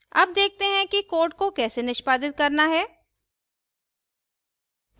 अब देखते हैं कि code को कैसे निष्पादित करना है